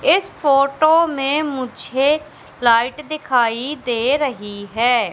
इस फोटो में मुझे लाइट दिखाई दे रही है।